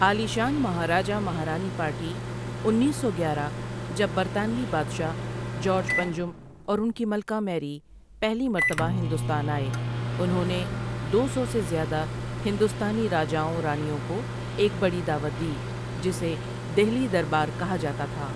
عالیشان مہاراجہ مہارانی پارٹی انیس سو گیارہ جب برطانوی بادشاہ جارج پنجم اور انکی ملکہ میری پہلی مرتبہ ہندوستان آئےانہوں نے دو سو سے زیادہ ہندوستانی راجاؤں رانیوں کوایک بڑی دعوت دی جسے دہلی دربار کہا جاتا تھا ۔